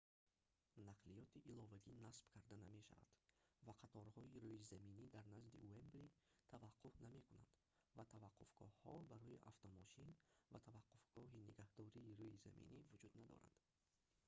нақлиёти иловагӣ насб карда намешавад ва қаторҳои рӯизаминӣ дар назди уэмбли таваққуф намекунанд ва таваққуфгоҳҳо барои автомошин ва таваққуфгоҳи нигаҳдории рӯизаминӣ вуҷуд надоранд